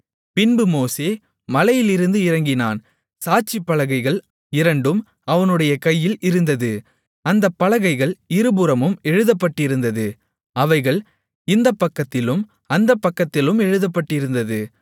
பின்பு மோசே மலையிலிருந்து இறங்கினான் சாட்சிப்பலகைகள் இரண்டும் அவனுடைய கையில் இருந்தது அந்தப் பலகைகள் இருபுறமும் எழுதப்பட்டிருந்தது அவைகள் இந்தப்பக்கத்திலும் அந்தப்பக்கத்திலும் எழுதப்பட்டிருந்தது